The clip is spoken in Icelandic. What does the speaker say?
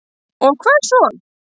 Og hvað svo?